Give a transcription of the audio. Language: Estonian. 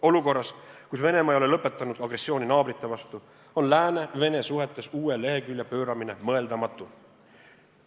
Olukorras, kus Venemaa ei ole lõpetanud agressiooni naabrite vastu, on Lääne ja Vene suhetes uue lehekülje pööramine mõeldamatu.